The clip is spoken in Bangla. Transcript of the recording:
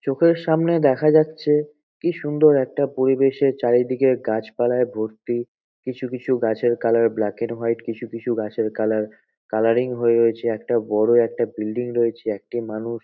চোখের সামনে দেখা যাচ্ছে কি সুন্দর একটা পরিবেশের চারিদিকে গাছ পালায় ভর্তি কিছু কিছু গাছের কালার ব্ল্যাক অ্যান্ড হোয়াইট কিছু কিছু গাছের কালার কালারিং হয়ে রয়েছে একটা বড় একটা বিল্ডিং রয়েছে একটি মানুষ--